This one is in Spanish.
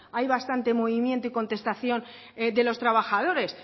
hay bastante movimiento y contestación de los trabajadores